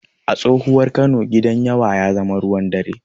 A tsohuwar Kano, Gidan yawa ya zama ruwan dare.